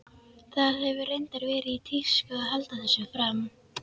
Það hefur reyndar verið í tísku að halda þessu fram.